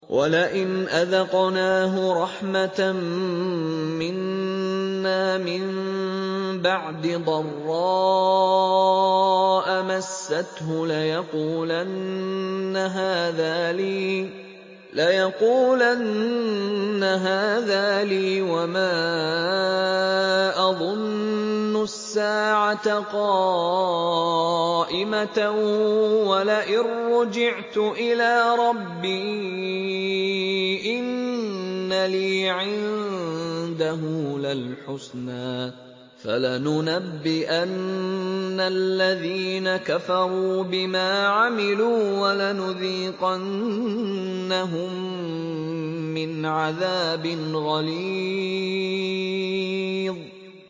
وَلَئِنْ أَذَقْنَاهُ رَحْمَةً مِّنَّا مِن بَعْدِ ضَرَّاءَ مَسَّتْهُ لَيَقُولَنَّ هَٰذَا لِي وَمَا أَظُنُّ السَّاعَةَ قَائِمَةً وَلَئِن رُّجِعْتُ إِلَىٰ رَبِّي إِنَّ لِي عِندَهُ لَلْحُسْنَىٰ ۚ فَلَنُنَبِّئَنَّ الَّذِينَ كَفَرُوا بِمَا عَمِلُوا وَلَنُذِيقَنَّهُم مِّنْ عَذَابٍ غَلِيظٍ